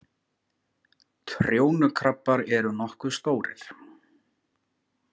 Trjónukrabbar eru nokkuð stórir.